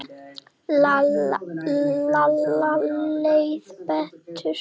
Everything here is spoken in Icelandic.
Lalla leið betur.